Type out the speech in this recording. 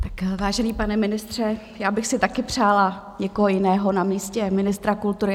Tak vážený pane ministře, já bych si taky přála někoho jiného na místě ministra kultury.